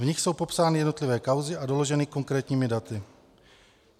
V nich jsou popsány jednotlivé kauzy a doloženy konkrétními daty.